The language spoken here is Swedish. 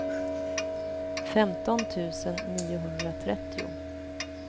femton tusen niohundratrettio